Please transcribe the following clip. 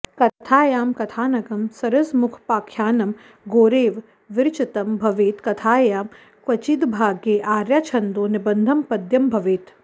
कथायां कथानकं सरसमुपाख्यानं गोरेव विरचितं भवेत् कथायां क्वचिद्भागे आर्या छन्दो निबद्धं पद्यं भवेत्